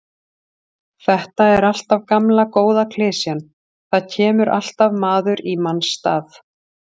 Þetta er alltaf gamla góða klisjan, það kemur alltaf maður í manns stað.